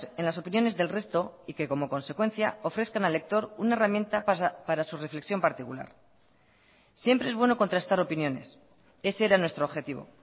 en las opiniones del resto y que como consecuencia ofrezcan al lector una herramienta para su reflexión particular siempre es bueno contrastar opiniones ese era nuestro objetivo